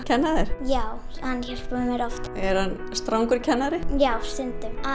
kenna þér já hann hjálpar mér oft er hann strangur kennari já stundum